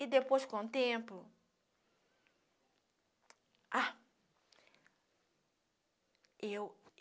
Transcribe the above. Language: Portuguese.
E depois, com o tempo... Ah! Eu